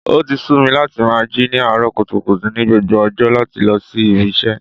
O ti sú mi láti máa jí ní àárọ̀ kùtùkùtù ni gbogbo ọjọ́ láti lọ sí ibi iṣẹ́.